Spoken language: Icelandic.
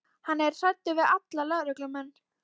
Hann er hræddur við alla lögreglumenn.